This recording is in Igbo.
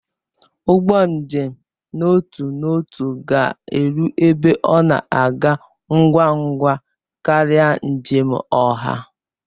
Ụgbọ njem n'otu n'otu ga-eru ebe ọ na-aga ngwa ngwa karịa njem oha.